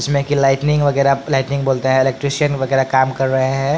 इसमें कि लाइटनिंग वगैरह लाइटनिंग बोलते हैं इलेक्ट्रिशियन वगैरह काम कर रहे हैं।